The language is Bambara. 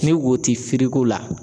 Ni wo ti firiko la.